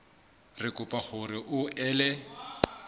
re kopa hore o ele